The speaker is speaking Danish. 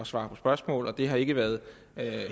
svare på spørgsmål og det har ikke været